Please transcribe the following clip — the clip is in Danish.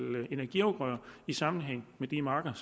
energiafgrøder i sammenhæng med de marker